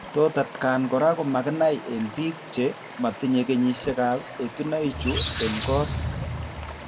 Tou atkan kora komakinai eng' biko che matinye kesishekab etunoichu eng' kot.